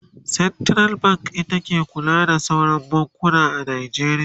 central bank ita ke kula da sauran bankuna a Najeriya